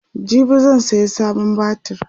jibi zan saya sabon batir